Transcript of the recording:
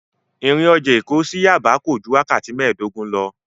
Ìrìn ọjà Èkó sí Yaba kò ju wákàtí mēẹ̀dógún lọ.